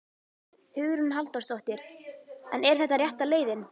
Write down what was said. Hugrún Halldórsdóttir: En er þetta rétta leiðin?